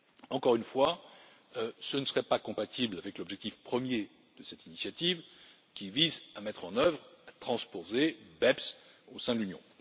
Encore une fois, ce ne serait pas compatible avec l'objectif premier de cette initiative qui vise à mettre en œuvre et à transposer BEPS au sein de l'Union.